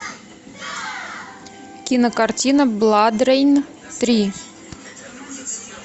кинокартина бладрейн три